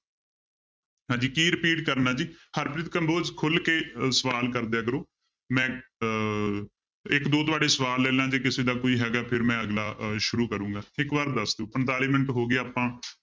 ਹਾਂਜੀ ਕੀ repeat ਕਰਨਾ ਜੀ ਹਰਪ੍ਰੀਤ ਕੰਬੋਜ ਖੁੱਲ ਕੇ ਅਹ ਸਵਾਲ ਕਰਦਿਆ ਕਰੋ ਮੈਂ ਅਹ ਇੱਕ ਦੋ ਤੁਹਾਡੇ ਸਵਾਲ ਲੈ ਲਾ ਜੇ ਕਿਸੇ ਦਾ ਕੋਈ ਹੈਗਾ ਫਿਰ ਮੈਂ ਅਗਲਾ ਅਹ ਸ਼ੁਰੂ ਕਰਾਂਗਾ ਇੱਕ ਵਾਰੀ ਦੱਸ ਦਿਓ ਪੰਤਾਲੀ ਮਿੰਟ ਹੋ ਗਏ ਆਪਾਂ